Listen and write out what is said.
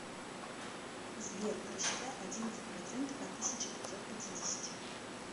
сбер рассчитай одиннадцать процентов от тысячи пятьсот пятидесяти